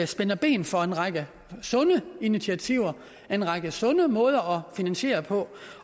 spænder ben for en række sunde initiativer en række sunde måder at finansiere på